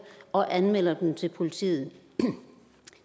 og anmelder dem til politiet